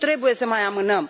Nu trebuie să mai amânăm.